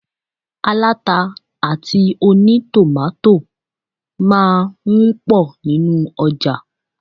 Aláta àti ònítòmátò máà ń pọ̀ nínu ọjà.